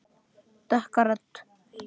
Dökka rödd.